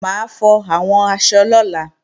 Mà á fọ àwọn aṣọ lọ́la